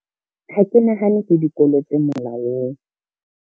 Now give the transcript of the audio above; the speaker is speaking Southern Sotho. Ha ke nahane ke dikolo tse molaong.